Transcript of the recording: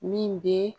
Min bɛ